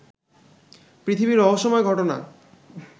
পৃথিবীর রহস্যময় ঘটনা